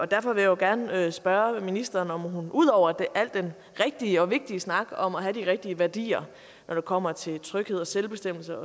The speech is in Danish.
derfor vil jeg gerne spørge ministeren om hun ud over al den rigtige og vigtige snak om at have de rigtige værdier når det kommer til tryghed og selvbestemmelse